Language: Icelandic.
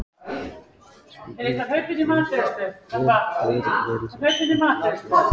Spurning dagsins er: Hver verður valinn efnilegastur?